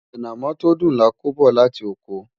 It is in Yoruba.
anamó tó dùn là kò bó láti okò